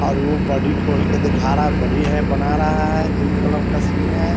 और वो बॉडी खोल के दिखा रहा है । बॉडी है बना रहा है । जिम क्लब का सीन है|